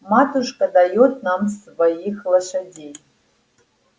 матушка даёт нам своих лошадей